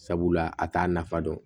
Sabula a t'a nafa dɔn